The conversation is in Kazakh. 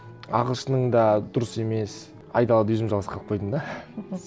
ағылшының да дұрыс емес айдалада өзім жалғыз қалып қойдым да